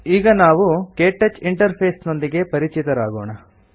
ಈಗ ನಾವು KTouch interface ನೊಂದಿಗೆ ಪರಿಚಿತರಾಗೋಣ